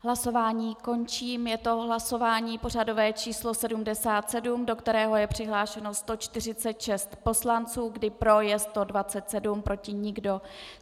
Hlasování končím, je to hlasování pořadové číslo 77, do kterého je přihlášeno 146 poslanců, kdy pro je 127, proti nikdo.